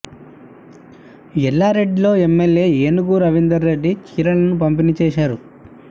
ఎల్లారెడ్డిలో MLA Enugu Ravinder Reddy చీరలను పంపిణీ చేశారు